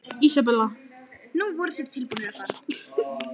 Nú voru þeir tilbúnir að fara.